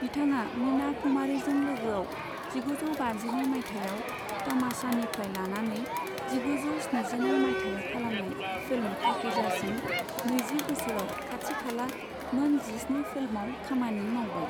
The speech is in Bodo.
बिथाङा मीना कुमारीजों लोगोआव जिगुजौ बाजिनै माइथायाव तमाशानिफ्राय लानानै जिगुजौ स्निजिनै माइथायाव खालामनाय फिल्म पाकीजासिम नैजि बोसोराव खाथि खाला मोन जिस्नि फिल्माव खामानि मावबाय।